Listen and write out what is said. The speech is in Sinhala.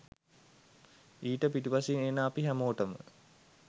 ඊට පිටුපසින් ඉන්න අපි හැමෝටම